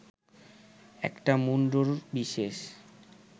একটা মুগুরবিশেষ